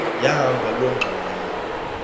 yahamba loo ngxwayi